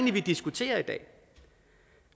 er vi diskuterer i dag